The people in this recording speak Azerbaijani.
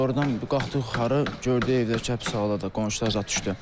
Sonradan qalxdıq yuxarı, gördük evdə kəp zaladır, qonşular zad düşdü.